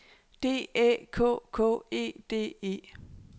D Æ K K E D E